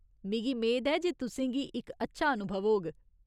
मिगी मेद ऐ जे तुसेंगी इक अच्छा अनुभव होग।